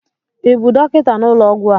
ị bụ dọkịta n'ụlọọgwụ a?